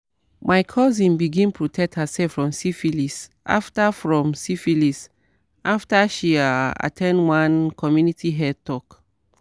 my cousin begin protect herself from syphilis after from syphilis after she ah at ten d one community health talk."